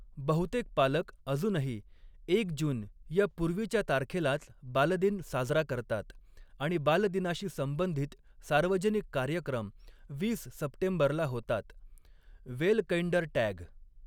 बहुतेक पालक अजूनही एक जून या पूर्वीच्या तारखेलाच बालदिन साजरा करतात आणि बालदिनाशी संबंधित सार्वजनिक कार्यक्रम वीस सप्टेंबरला होतात, वेलकइंडरटॅग.